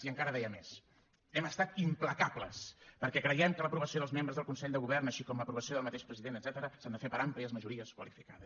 i encara deia més hem estat implacables perquè creiem que l’aprovació dels membres del consell de govern així com l’aprovació del mateix president etcètera s’ha de fer per àmplies majories qualificades